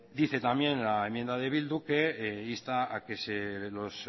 dice también la enmienda de bildu que insta a que los